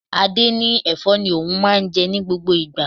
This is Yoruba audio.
Adé ní Ẹ̀fọ́ ni òun máa ń jẹ ní gbogbo ìgbà.